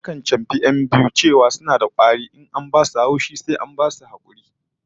Akan chamfi 'yan biyu a ce suna kwari in an ba su haushi, sai an basu hakuri